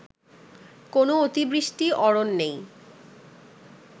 কোন অতিবৃষ্টি অরণ্যেই